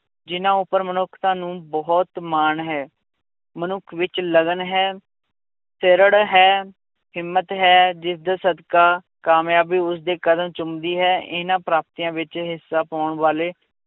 ਜਿੰਨਾਂ ਉੱਪਰ ਮਨੁੱਖਤਾ ਨੂੰ ਬਹੁਤ ਮਾਣ ਹੈ, ਮਨੁੱਖ ਵਿੱਚ ਲਗਨ ਹੈ ਹੈ, ਹਿੰਮਤ ਹੈ, ਜਿਸਦੇ ਸਦਕਾ ਕਾਮਯਾਬੀ ਉਸਦੇ ਕਦਮ ਚੁੰਮਦੀ ਹੈ, ਇਹਨਾਂ ਪ੍ਰਾਪਤੀਆਂ ਵਿੱਚ ਹਿੱਸਾ ਪਾਉਣ ਵਾਲੇ